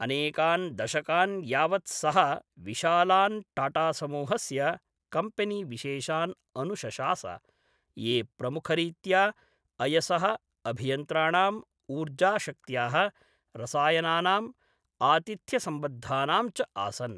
अनेकान् दशकान् यावत् सः विशालान् टाटासमूहस्य कम्पेनीविशेषान् अनुशशास, ये प्रमुखरीत्या अयसः, अभियन्त्राणाम्, ऊर्जाशक्त्याः, रसायनानां, आतिथ्यसम्बद्धानां च आसन्।